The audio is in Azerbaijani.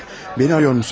Məni arıyormusunuz?